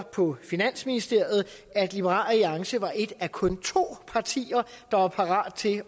på finansministeriet at liberal alliance var et af kun to partier der var parate til